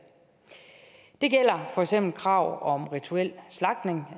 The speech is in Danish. det gælder for eksempel krav om rituel slagtning